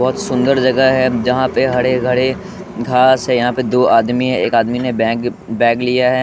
बहोत सुंदर जगह है जहां पे हड़े हडे घास है यहां पे दो आदमी है एक आदमी ने बैंग बैग लिया है।